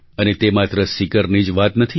અને તે માત્ર સીકરની જ વાત નથી